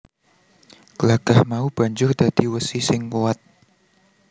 Glagah mau banjur dadi wesi sing kuwat